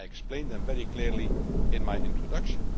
I explained them very clearly in my introduction.